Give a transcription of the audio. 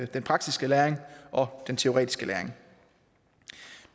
den praktiske læring og den teoretiske læring